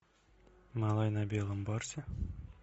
малай на белом барсе